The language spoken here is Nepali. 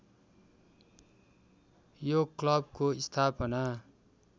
यो क्लबको स्थापना